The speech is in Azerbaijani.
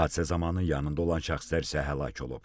Hadisə zamanı yanında olan şəxslər isə həlak olub.